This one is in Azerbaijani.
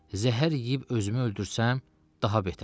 Zəhər yeyib özümü öldürsəm, daha betər.